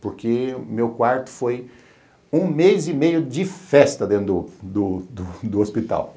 Porque meu quarto foi um mês e meio de festa dentro do do do hospital.